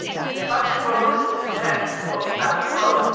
The budget will always reflect what we value most.